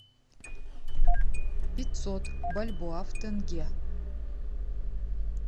пятьсот бальбоа в тенге